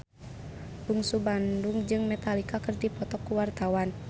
Bungsu Bandung jeung Metallica keur dipoto ku wartawan